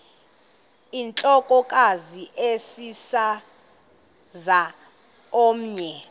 intlokohlaza sesisaz omny